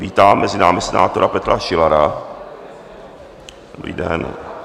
Vítám mezi námi senátora Petra Šilara, dobrý den.